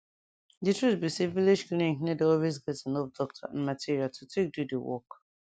di truth be say village clinic nor dey always get enough doctor and material to take do di work